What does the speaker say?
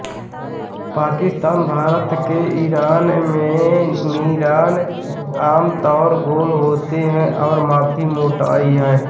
पाकिस्तान भारत और ईरान में मीनार आमतौर गोल होते हैं और काफी मोटाई हैं